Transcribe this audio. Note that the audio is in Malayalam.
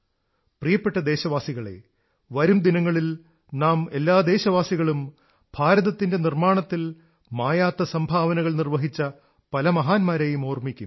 പ്രിയപ്പെട്ട ദേശവാസികളേ വരും ദിനങ്ങളിൽ നാം എല്ലാ ദേശവാസികളും ഭാരതത്തിന്റെ നിർമ്മാണത്തിൽ മായാത്ത സംഭാവനകൾ നിർവ്വഹിച്ച പല മഹാന്മാരെയും ഓർമ്മിക്കും